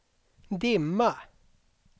dimma